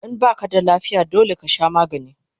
In baka da lafiya dole kasha magani